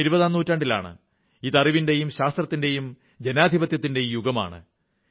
നാം ഇരുപതാം നൂറ്റാണ്ടിലാണ് ഇത് അറിവിന്റെയും ശാസ്ത്രത്തിന്റെയും ജനാധിപത്യത്തിന്റെയും യുഗമാണ്